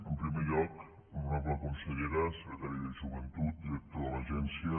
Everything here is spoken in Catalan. en primer lloc honorable consellera secretari de joventut director de l’agència